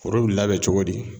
Foro bi labɛn cogo di?